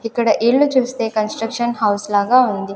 ఇక్కడ ఇల్లు చూస్తే కన్స్ట్రక్షన్ హౌస్ లాగా ఉంది.